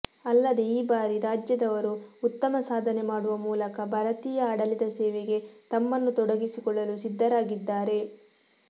ಅಲ್ಲದೆ ಈ ಬಾರಿ ರಾಜ್ಯದವರು ಉತ್ತಮ ಸಾಧನೆ ಮಾಡುವ ಮೂಲಕ ಭಾರತೀಯ ಆಡಳಿತ ಸೇವೆಗೆ ತಮ್ಮನ್ನು ತೊಡಗಿಸಿಕೊಳ್ಳಲು ಸಿದ್ಧರಾಗಿದ್ದಾರೆ